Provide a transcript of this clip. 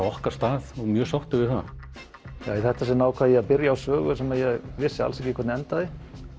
okkar stað og mjög sáttir við það í þetta sinn ákvað ég að byrja á sögu sem ég vissi ekki hvernig endaði